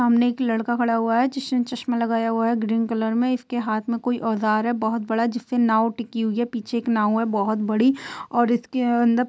सामने एक लड़का खड़ा हुआ है। जिसने चश्मा लगाया हुआ है ग्रीन कलर में इसके हाथ में कोई औज़ार है बहुत बड़ा जिससे नावँ टिकी हुई है पीछे एक नावँ है। बहुत बड़ी और इसके अंद --